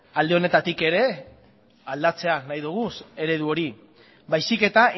alde honetatik ere aldatzea nahi dugun eredu hori baizik eta